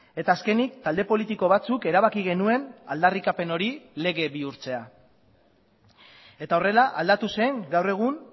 eta azkenik talde politiko batzuk erabaki genuen aldarrikapen hori lege bihurtzea eta horrela aldatu zen gaur egun